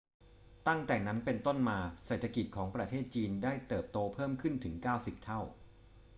ตั้งแต่นั้นเป็นต้นมา เศรษฐกิจของประเทศจีนได้เติบโตเพิ่มขึ้นถึง 90 เท่า